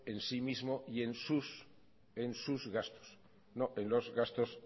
en sí mismo y en sus gastos no en los gastos